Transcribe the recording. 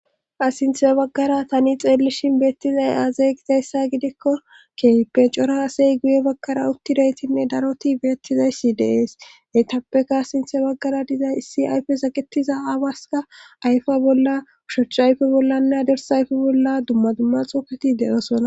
asinthe baggara tani xeellishin beettizay aazeegizayssa gidikko kepencora asey guye baggara uttidaytinne daroti beettizayssi deees heytappeka asinthe baggara dizay issi ayfe saketiza aabaska ayfa bolla ushocha ayfe bollanne adersa ayfe bolla dumma dumma xuufeti de7osonna